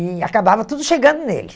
E acabava tudo chegando nele.